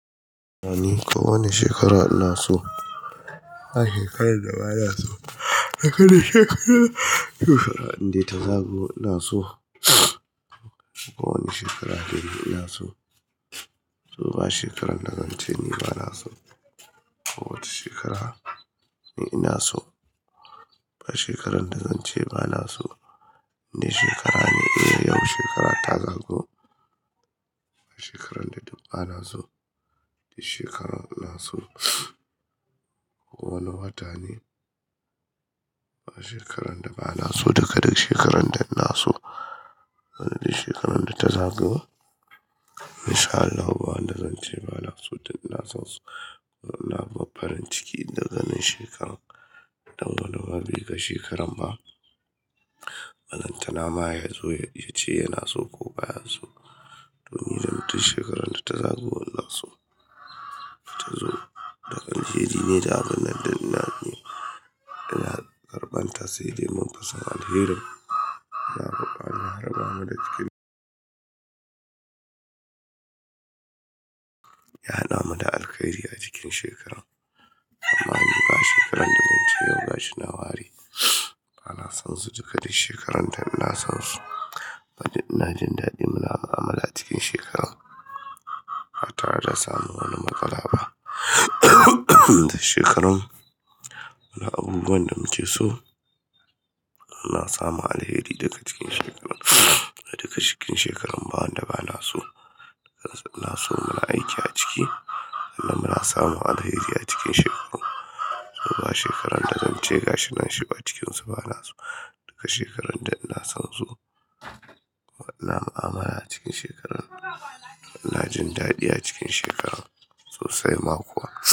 Wani shekara ina so. Ba shekaran da ba na so. Ba shekaran da ba na so. Shekara indai ta zagayo ina so. Kowane shekara ina so. To ba shekaran da zance ina so. Kowace shekara ina so. Ba shekaran da zance ba na so. Inde shekara ne yau. Shekara ta zagayo. Shekaran da duk ba na so. Shekaran ina so. Wani watane a shekaran da ba na so. Daga shekaran da ina so. Shekaran da ta zago. Masha Allah. Ba wanda zance ba na so. Duk ina sonsu duk ina farin cikin daga nin shekaran. Dan walwabi ga shekaran ba. Lan tana ma ya zo ya ce yana so ko baya so. Don ji da mutu shekaran da ta zago ina so. Ta zo daga daidai ne da abunnan da ina ne. Ina karban ta saide munfi son Alherin. Allah ya rabamu da jikin Yahadamu da alheri a cikin shekaran. Amma dukba shekaran da zance yau ga shi na ware. Ba na son su duka shekaran da ina son su. Ina jin dadi muna mu'amala cikin shekaran. Hatta ba za a sami wani matsala ba. Shekaran. Abubuwan da mu ke so. Ina samun alheri daga cikin shekaran. Daga cikin shekaran ba wanda ba na so. Ina so muna aiki a ciki. Sannan muna samun alheri a cikin shekaran. To ba shekaran da zance gashi nan shi a cikinsu ba na so. Daga shekaran da ina son su. Ina mu'amala cikin shekaran. Ina jin dadi a cikin shekaran sosai ma kuwa.